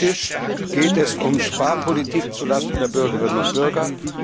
Praktisch geht es um Sparpolitik zu Lasten der Bürgerinnen und Bürger.